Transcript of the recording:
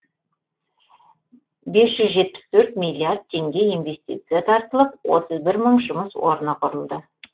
бес жүз жетпіс төрт миллиард теңге инвестиция тартылып отыз бір мың жұмыс орны құрылды